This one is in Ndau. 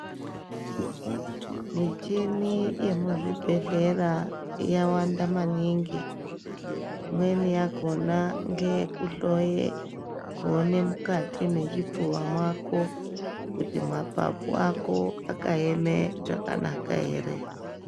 Micheni yemuzvibhedhlera yakawanda maningi , imweni yakona ngeyekuhloye kuone mukati mechipfuva mako kuti mapapu ako akaeme jakanaka ere.